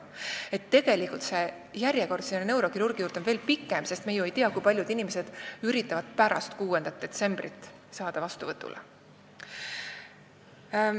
" Nii et tegelikult on järjekord neurokirurgi juurde veel pikem, sest me ei tea ju veel, kui paljud inimesed üritavad saada vastuvõtule pärast 6. detsembrit.